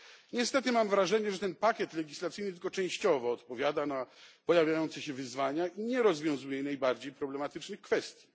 Niestety mam wrażenie, że ten pakiet legislacyjny tylko częściowo odpowiada na pojawiające się wyzwania i nie rozwiązuje najbardziej problematycznych kwestii.